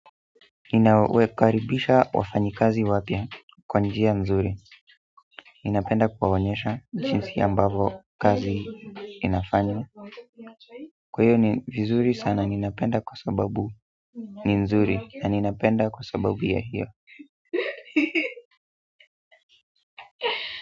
Ninawekaribisha wafanyikazi wapya kwa njia nzuri ninapenda kuwaonyesha jinsi ambavo kazi inafanywa kwa hiyo ni vizuri sana ninapenda kwa sababu ni nzuri na ninapenda kwa sababu ya hiyo.